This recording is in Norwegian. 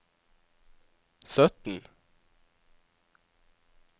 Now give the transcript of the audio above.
sytten